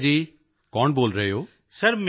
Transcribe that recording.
ਨਮਸਤੇ ਜੀ ਕੌਣ ਬੋਲ ਰਹੇ ਹੋ